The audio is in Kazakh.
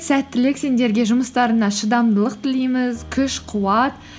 сәттілік сендерге жұмыстарыңа шыдамдылық тілейміз күш қуат